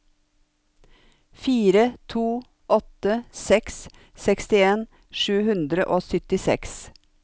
fire to åtte seks sekstien sju hundre og syttiseks